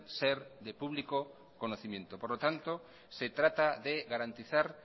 ser de público conocimiento por lo tanto se trata de garantizar